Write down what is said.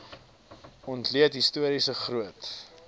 ontleed historiese groot